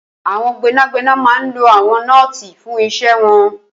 Awọn gbẹnágbẹná má n ló awọn nọ́ọ̀ti fùn iṣẹ̀ wọn